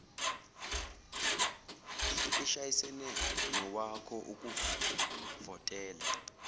ishayisane nowakho ukuvotela